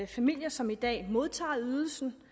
familier som i dag modtager ydelsen